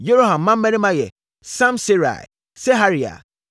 Yeroham mmammarima yɛ: Samserai, Seharia, Atalia,